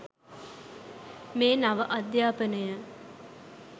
මේ නව අධ්‍යාපනය